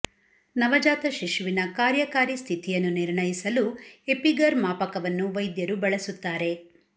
ನವಜಾತ ಶಿಶುವಿನ ಕಾರ್ಯಕಾರಿ ಸ್ಥಿತಿಯನ್ನು ನಿರ್ಣಯಿಸಲು ಎಪಿಗರ್ ಮಾಪಕವನ್ನು ವೈದ್ಯರು ಬಳಸುತ್ತಾರೆ